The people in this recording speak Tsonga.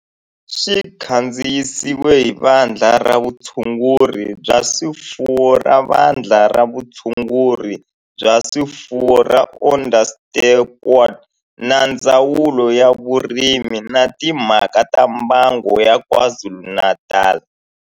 Xi kandziyisiwe hi Vandla ra Vutshunguri bya swifuwo ra Vandla ra Vutshunguri bya swifuwo ra Onderstepoort na Ndzawulo ya Vurimi na Timhaka ta Mbango ya KwaZulu-Natal